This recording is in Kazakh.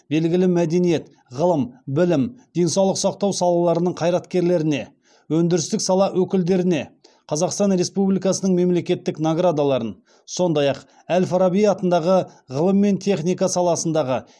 белгілі мәдениет ғылым білім денсаулық сақтау салаларының қайраткерлеріне өндірістік сала өкілдеріне қазақстан республикасының мемлекеттік наградаларын сондай ақ әл фараби атындағы ғылым мен техника саласындағы